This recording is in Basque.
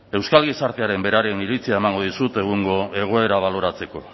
euskal gizartearen beraren iritzia emango dizut egungo egoera baloratzeko